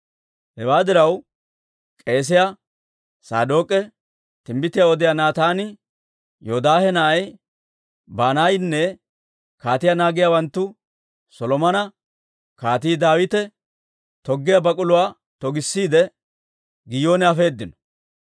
Hewaa diraw, k'eesiyaa Saadook'e, timbbitiyaa odiyaa Naataani, Yoodaahe na'ay Banaayinne kaatiyaa naagiyaawanttu Solomona Kaatii Daawite toggiyaa bak'uluwaa togissiide, Giyoone afeedino.